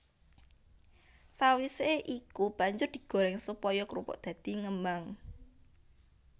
Sawisé iku banjur digoréng supaya krupuk dadi ngembang